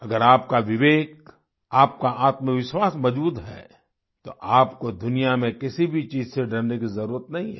अगर आपका विवेक आपका आत्मविश्वास मजबूत है तो आपको दुनिया में किसी भी चीज से डरने की जरुरत नहीं है